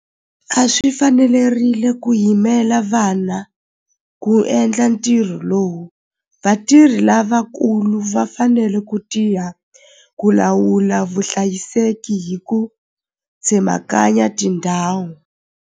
A swi fanelerile ku yimela vana ku endla ntirho lowu vatirhi lavakulu va fanele ku tiya ku lawula vuhlayiseki hi ku tsemakanya tindhawu.